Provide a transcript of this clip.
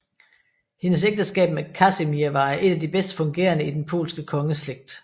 Hendes ægteskab med Kasimir var et af de bedst fungerende i den polske kongeslægt